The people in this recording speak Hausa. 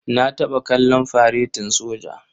Na taɓa kallon faretin soja.